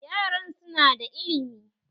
Yaran su na da ilimi